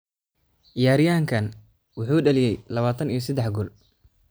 Ciyaaryahankan wuxuu dhaliyay lawatan iyo sadex gool.